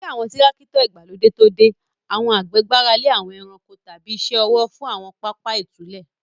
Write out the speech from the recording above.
Kí àwọn Tírákítọ̀ ìgbàlódé tó dé, àwọn àgbẹ̀ gbára lé àwọn ẹranko tàbí iṣẹ́ ọwọ́ fún àwọn pápá ìtúlẹ̀.